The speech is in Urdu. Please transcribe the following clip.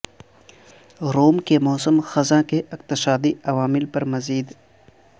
روم کے موسم خزاں کے اقتصادی عوامل پر مزید